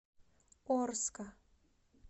орска